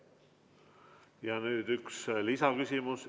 Nüüd üks lisaküsimus.